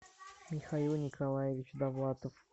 михаил николаевич довлатов